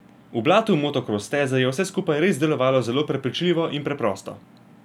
V blatu motokros steze je vse skupaj res delovalo zelo prepričljivo in preprosto.